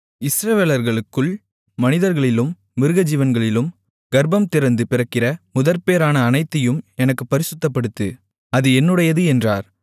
இஸ்ரவேலர்களுக்குள் மனிதர்களிலும் மிருகஜீவன்களிலும் கர்ப்பம்திறந்து பிறக்கிற முதற்பேறான அனைத்தையும் எனக்குப் பரிசுத்தப்படுத்து அது என்னுடையது என்றார்